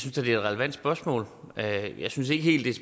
et relevant spørgsmål jeg jeg synes ikke helt